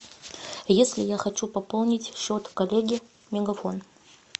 если я хочу пополнить счет коллеге мегафон